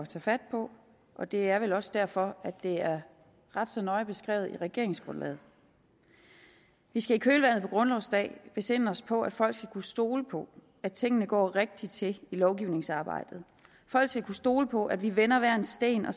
tage fat på og det er vel også derfor at det er ret så nøje beskrevet i regeringsgrundlaget vi skal i kølvandet på grundlovsdag besinde os på at folk skal kunne stole på at tingene går rigtigt til i lovgivningsarbejdet folk skal kunne stole på at vi vender hver en sten og